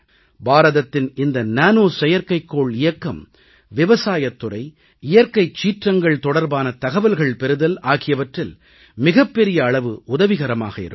பாரதத்தின் இந்த நானோ செயற்கைக்கோள் இயக்கம் விவசாயத் துறை இயற்கைச் சீற்றங்கள் தொடர்பான தகவல்கள் பெறுதல் ஆகியவற்றில் மிகப்பெரிய அளவு உதவிகரமாக இருக்கும்